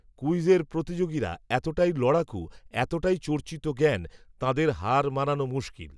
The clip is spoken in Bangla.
ক্যূইজের প্রতিযোগীরা এতটাই লড়াকূ, এতটাই চর্চিত জ্ঞান, তাঁদের হার মানানো মুশকিল